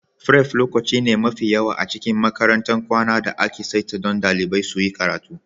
Fref lokaci ne mafi yawa a cikin makarantar kwana da aka saita don dalibai suyi karatu.